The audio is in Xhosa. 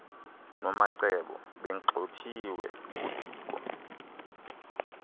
nomacebo begxothiwe ngudiko